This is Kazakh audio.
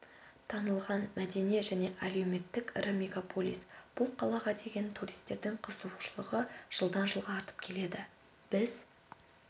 танылған мәдени және әлеуметтік ірі мегаполис бұл қалаға деген туристердің қызығушылығы жылдан-жылға артып келеді біз